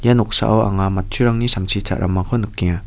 ia noksao anga matchurangni samsi cha·ramako nikenga.